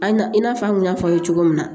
An i n'a fɔ an kun y'a fɔ aw ye cogo min na